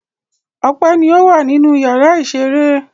Ọpẹ́ ni ó wà nínú ìyàrá-ìṣeré.